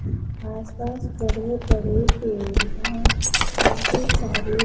आस पास बड़े बड़े पड़े है काफी सारे--